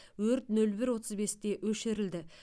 өрт нөл бір отыз бесте өшірілді